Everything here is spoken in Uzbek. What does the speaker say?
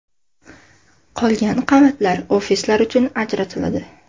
Qolgan qavatlar ofislar uchun ajratiladi.